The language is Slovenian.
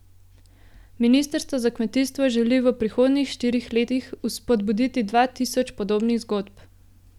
Ministrstvo za kmetijstvo želi v prihodnjih štirih letih spodbuditi dva tisoč podobnih zgodb.